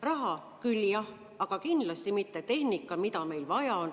Raha küll, jah, aga kindlasti mitte tehnika, mida meil vaja on.